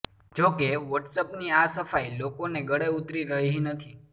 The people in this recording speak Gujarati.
જો કે વોટ્સએપની આ સફાઈ લોકોને ગળે ઉતરી રહી નથી